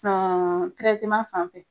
fan fɛ